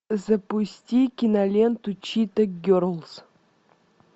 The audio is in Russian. запусти киноленту чита герлз